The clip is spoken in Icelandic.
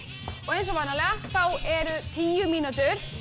og eins og vanalega þá eru tíu mínútur